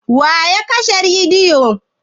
Wa ya kashe rediyo?